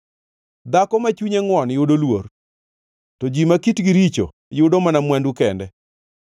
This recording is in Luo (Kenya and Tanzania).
Dhako ma chunye ngʼwon yudo luor, to ji ma kitgi richo yudo mana mwandu kende.